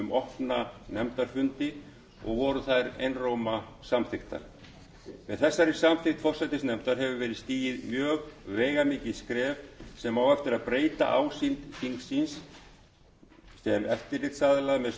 opna nefndarfundi og voru þær einróma samþykktar með þessari samþykkt forsætisnefndar hefur verið stigið mjög veigamikið skref sem á eftir að breyta ásýnd þingsins sem eftirlitsaðila með störfum framkvæmdarvaldsins